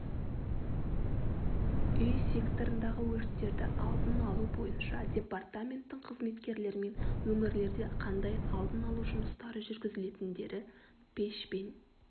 үй секторындағы өрттерді алдын алу бойынша департаменттің қызметкерлерімен өңірлерде қандай алдын алу жұмыстары жүргізілетіндері пешпен